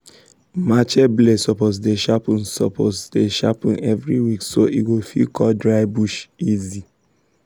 machete blade suppose dey sharpen suppose dey sharpen every week so e go fit cut dry bush easy.